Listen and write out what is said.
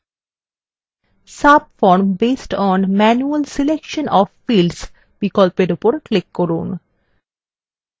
subform based on manual selection of fields বিকল্পের উপর click করুন